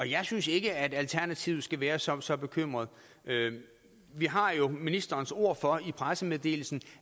jeg synes ikke at alternativet skal være så så bekymret vi har jo ministerens ord for i pressemeddelelsen